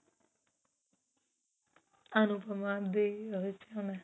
ਅਨੁਪਮਾ ਦੇ ਵਿੱਚ ਉਹਨੇ